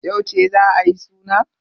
Yauce za a yi suna?